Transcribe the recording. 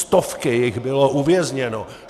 Stovky jich bylo uvězněno.